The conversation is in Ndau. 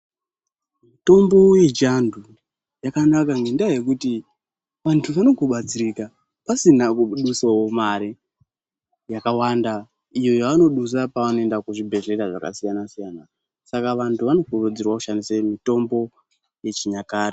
Mitombo yechiantu yakangonaka ngekuti vantu vanongobatsirika pasina kudusavo mare yakawanda. Iyo yavanodusa pavanoendavo kuzvibhedhlera zvakasiyana-siyana. Saka vantu vanokurudzirwe kushandise mitombo yechinyakare.